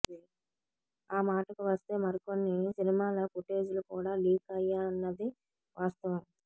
ఆ మాటకు వస్తే మరికొన్ని సినిమాల ఫుటేజ్ లు కూడా లీక్ అయ్యాయన్నది వాస్తవం